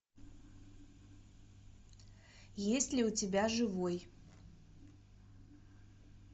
есть ли у тебя живой